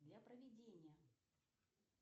для проведения